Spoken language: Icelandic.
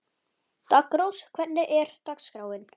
Daggrós, hvernig er dagskráin?